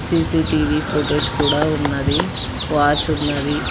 C C TV footage కూడా ఉన్నది watch ఉన్నది.